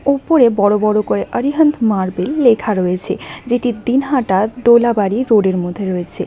উপরে বড় বড় করে আরিহান্ত মার্বেল লেখা রয়েছে যেটি দিনহাটা দোলাবাড়ি রোড -এর মধ্যে রয়েছে।